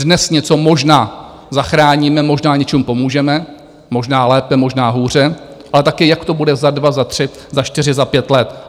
Dnes něco možná zachráníme, možná něčemu pomůžeme, možná lépe, možná hůře, ale taky jak to bude za dva, za tři, za čtyři, za pět let?